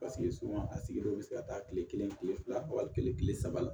paseke a sigilen bɛ se ka taa kile kelen kile fila kile saba la